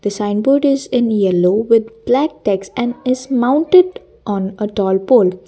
sign board is in yellow with black text and is mounted on at all Poll.